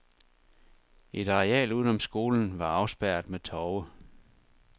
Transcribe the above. Et areal udenom skolen var afspærret med tove.